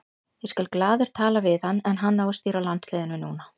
Ég skal glaður tala við hann en hann á að stýra landsliðinu núna.